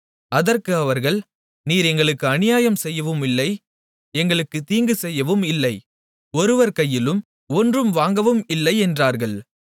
அதற்கு அவர்கள் நீர் எங்களுக்கு அநியாயம் செய்யவும் இல்லை எங்களுக்கு தீங்கு செய்யவும் இல்லை ஒருவர் கையிலும் ஒன்றும் வாங்கவும் இல்லை என்றார்கள்